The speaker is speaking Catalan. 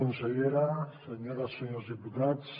consellera senyores i senyors diputats